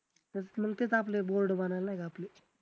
त्याचं मग तेच आपले board बनवायला नाही का आपले